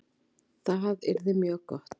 Það yrði mjög gott